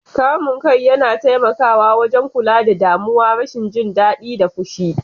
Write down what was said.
Kamun kai yana taimakawa wajen kula da damuwa, rashin jin daɗi, da fushi.